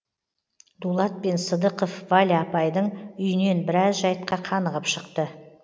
дулат пен сыдықов валя апайдың үйінен біраз жайтқа қанығып шықты